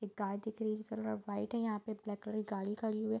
एक गाय दिख रही है जिसका कलर वाइट है यहाँ पे ब्लैक कलर की गाड़ी खड़ी हुई है।